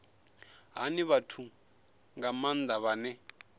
hani vhathu nga maanda vhane